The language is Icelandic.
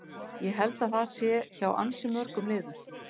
Ég held að það sé hjá ansi mörgum liðum.